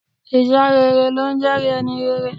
Iṣẹ́ rere ló ńjẹ́ẹ̀rí ẹni rere.